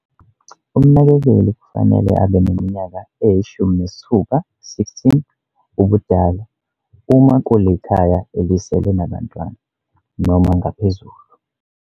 Umnakekeli kufanele abe neminyaka eyi-16 ubudala, uma kulikhaya elisele nabantwana, noma ngaphezulu.